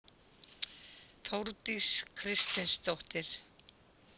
Þórdís Kristinsdóttir.